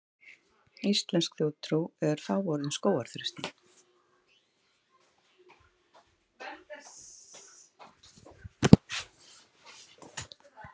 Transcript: Íslensk þjóðtrú er fáorð um skógarþröstinn.